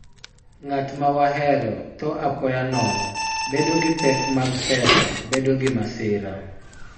Ng�at ma wahero tho apoya nono, bedo gi pek mag pesa, bedo gi masira,